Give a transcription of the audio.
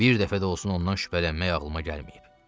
Bir dəfə də olsun ondan şübhələnmək ağlıma gəlməyib.